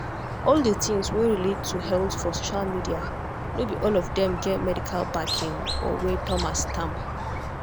all the things wey relate to health for social media no be all of them get medical backing or wey thomas stamp.